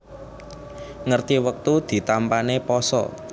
Ngerti wektu ditampané pasa